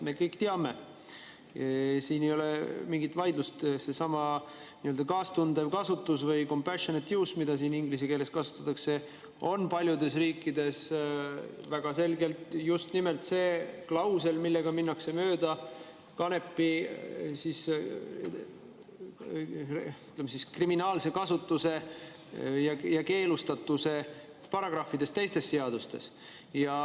Me kõik teame, et siin ei ole mingit vaidlust, seesama nii-öelda kaastundev kasutus või compassionate use, mida siin ingliskeelsena kasutatakse, on paljudes riikides väga selgelt just nimelt see klausel, mille abil minnakse mööda kanepi, ütleme siis, kriminaalse kasutuse ja keelustatuse paragrahvidest teistes seadustes.